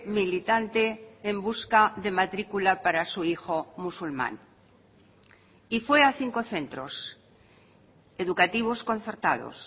militante en busca de matrícula para su hijo musulmán y fue a cinco centros educativos concertados